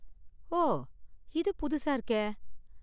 ஓ, இது புதுசா இருக்கே!